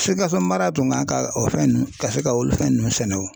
Sikaso mara tun kan ka o fɛn ninnu ka se ka olu fɛn ninnu sɛnɛ o